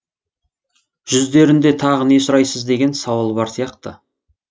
жүздерінде тағы не сұрайсыз деген сауал бар сияқты